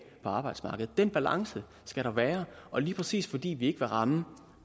på arbejdsmarkedet den balance skal der være og lige præcis fordi vi ikke vil ramme